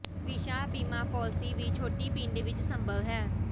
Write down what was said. ਵਿਸ਼ਾ ਬੀਮਾ ਪਾਲਿਸੀ ਵੀ ਛੋਟੀ ਪਿੰਡ ਵਿੱਚ ਸੰਭਵ ਹੈ